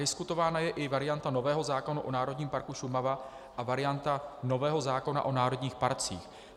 Diskutována je i varianta nového zákona o Národním parku Šumava a varianta nového zákona o národních parcích.